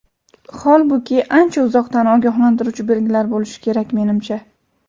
Holbuki, ancha uzoqdan ogohlantiruvchi belgilar bo‘lishi kerak, menimcha.